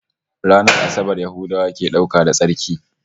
Ranar Asabar Yahudawa ke dauka da tsarki